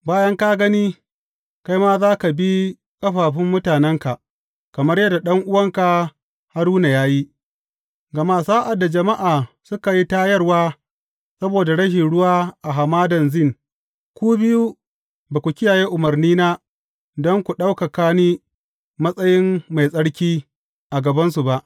Bayan ka gani, kai ma za ka bi ƙafafun mutanenka, kamar yadda ɗan’uwanka Haruna ya yi, gama sa’ad da jama’a suka yi tayarwa saboda rashin ruwa a Hamadan Zin, ku biyu, ba ku kiyaye umarnina don ku ɗaukaka ni matsayin mai tsarki, a gabansu ba.